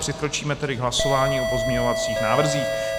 Přikročíme tedy k hlasování o pozměňovacích návrzích.